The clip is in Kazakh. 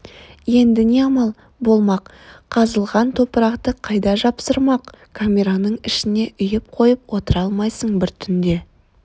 енді не амал болмақ қазылған топырақты қайда жасырмақ камераның ішіне үйіп қойып отыра алмайсың бір түнде